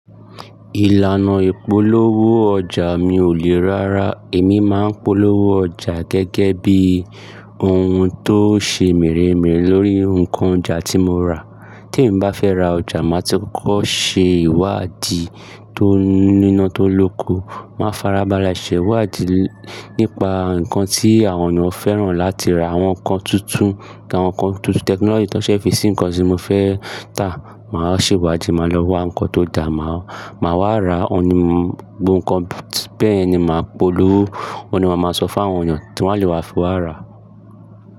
Ìlànà ìpolówó ọjà mi ò le rárà. Èmi máa ń polówó ọjà gẹ́gẹ́ bí ohun tó ṣe meremere lórí nǹkan oja tí mo rà. Tí èmi bá fẹ́ ra ọjà, màá ti kọ́kọ́ ṣe ìwádìí tó nínà tó lóko. Màá farabalẹ̀ ṣe ìwádìí nípa nǹkan tí àwọn ènìyàn fẹ́ràn láti ra, àwọn nǹkan tuntun, àwọn nǹkan tuntun technology ti won fi sí nǹkan tí mo fẹ́ tà. Màá ṣe ìwádìí, màá lọ wá nǹkan tó da, màá wá ra, òun ni mo Bẹ́ẹ̀ ni màá polówó, òun ni màá máa sọ fún àwọn ènìyàn ti wọ́n a lè wá fi wá rà.